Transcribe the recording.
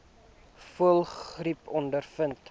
voëlgriep ondervind